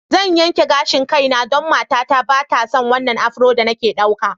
Zan yanke gashin kaina don matata ba ta son wannan afro da nake ɗauka.